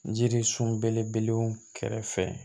Jirisun belebelew kɛrɛfɛ